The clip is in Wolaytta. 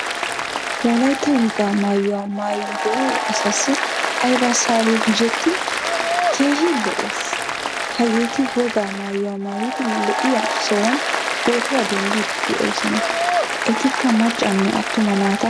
Wolaytta wogaa maayuwaa maayiyode asaasi ayba sabi gujjetti? keehin lo"ees. Hageetti wogaa maayuwaa maayidi lo"iyaa sohuwan pootuwaa denddidi deosona. Ettikaa maccanne attuma naataa.